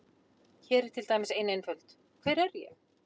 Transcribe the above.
Hér er til dæmis ein einföld: Hver er ég?